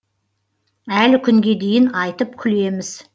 әлі күнге дейін айтып күлеміз